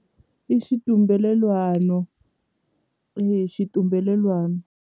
I xitumbelelwano xitumbelelwani.